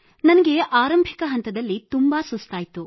ನನಗೆ ಆರಂಭಿಕ ಹಂತದಲ್ಲಿ ಅತೀವ ಸುಸ್ತಾಯಿತು